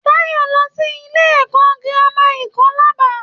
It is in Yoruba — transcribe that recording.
Táyọ̀ n lọ sí ilé ẹkọ gírámà Ikolaba.